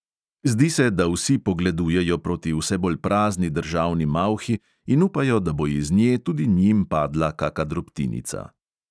Zdi se, da vsi pogledujejo proti vse bolj prazni državni malhi in upajo, da bo iz nje tudi njim padla kaka drobtinica.